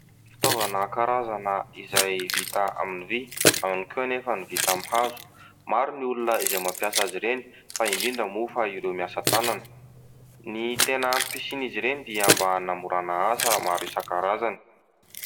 Fitaovana karazana izay vita amin'ny vy, ao ihany koa anefa ny vita aminy hazo. Maro ny olona izay mampiasa azy ireny fa indrindra moa fa ireo miasa tanana. Ny tena antom-pisian'izy ireny dia mba hanamorana asa maro isankarazany.